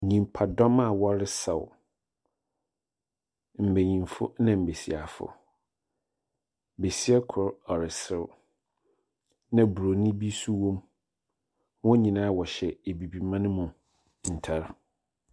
Nyimpadɔm aa wɔlesaw, mbenyifo na mbesiafo. Besia kor ɔreserew na broni bi so wom. Wɔnyinaa wɔhyɛ abibiman mu ntare.